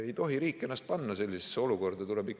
Ei tohi riik ennast panna sellisesse olukorda!